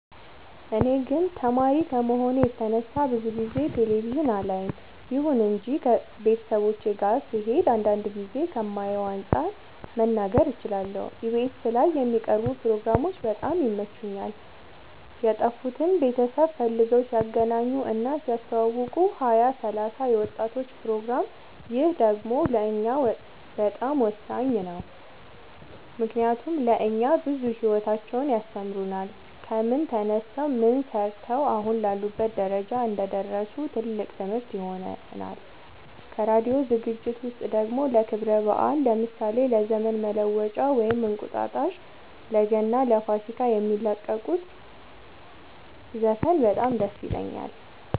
እኔ ግን ተማሪ ከመሆኔ የተነሳ ብዙ ጊዜ ቴሌቪዥን አላይም ይሁን እንጂ ቤተሰቦቼ ጋ ስሄድ አንዳንድ ጊዜ ከማየው አንፃር መናገር እችላለሁ ኢቢኤስ ላይ የሚቀርቡ ፕሮግራሞች በጣም ይመቹኛል የጠፉትን ቤተሰብ ፈልገው ሲያገናኙ እና ሲያስተዋውቁ ሀያ ሰላሳ የወጣቶች ፕሮግራም ይህ ደግሞ ለእኛ በጣም ወሳኝ ነው ምክንያቱም ለእኛ ብዙ ሂወታቸውን ያስተምሩናል ከምን ተነስተው ምን ሰርተው አሁን ላሉበት ደረጃ እንደደረሱ ትልቅ ትምህርት ይሆነናል ከራዲዮ ዝግጅት ውስጥ ደግሞ ለክብረ በአል ለምሳሌ ለዘመን መለወጫ ወይም እንቁጣጣሽ ለገና ለፋሲካ የሚለቁት ዘፈን በጣም ደስ ይለኛል